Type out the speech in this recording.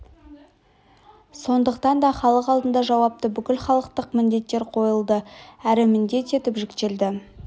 сондықтан да халық алдына жауапты бүкілхалықтық міндеттер қойылды әрі міндет етіп жүктелді